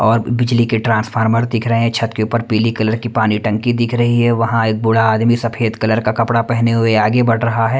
और बिजली के ट्रांसफार्मर दिख रहे हैं छत के ऊपर पीले कलर की पानी टंकी दिख रही है वहां एक बूढ़ा आदमी सफेद कलर का कपड़ा पहने हुए आगे बढ़ रहा है।